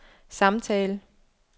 samtale